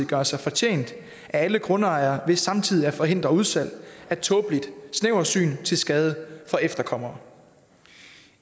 gøre sig fortjent af alle grundejere ved samtidig at forhindre udsalg af tåbeligt snæversyn til skade for efterkommere